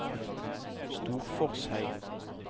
Storforshei